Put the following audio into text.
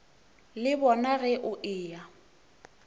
le bona ge o eya